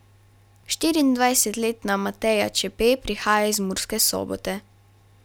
Štiriindvajsetletna Mateja Čepe prihaja iz Murske Sobote.